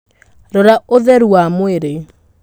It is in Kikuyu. Rora ũtheru wa mwĩrĩ.